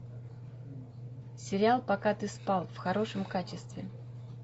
сериал пока ты спал в хорошем качестве